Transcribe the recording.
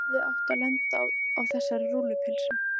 Hann hefði átt að lenda á þessari rúllupylsu.